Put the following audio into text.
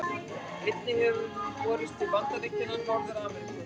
Einnig hefur hún borist til Bandaríkja Norður-Ameríku.